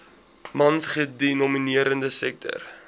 mans gedomineerde sektor